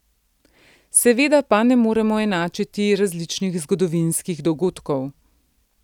Seveda pa ne moremo enačiti različnih zgodovinskih dogodkov.